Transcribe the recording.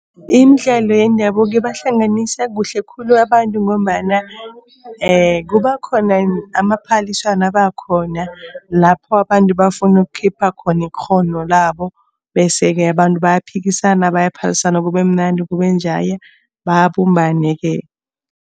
Imidlalo yendabuko ibahlanganisa kuhle khulu abantu ngombana kuba khona amaphaliswano abakhona lapho abantu bafuna ukukhipha khona ikghono labo. Bese-ke abantu bayaphikisana, bayaphalisana, kube mnandi kube njaya babumbane-ke.